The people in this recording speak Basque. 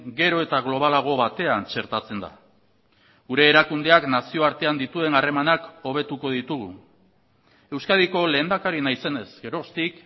gero eta globalago batean txertatzen da gure erakundeak nazioartean dituen harremanak hobetuko ditugu euskadiko lehendakari naizenez geroztik